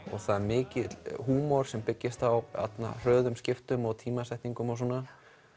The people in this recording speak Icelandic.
og það er mikill húmor sem byggist á hröðum skiptum og tímasetningum og svona